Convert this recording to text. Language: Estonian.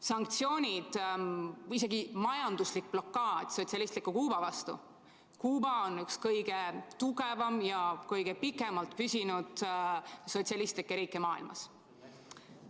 Sanktsioonid või isegi majanduslik blokaad sotsialistliku Kuuba vastu – Kuuba on üks kõige tugevamaid ja kõige pikemalt püsinud sotsialistlikke riike maailmas.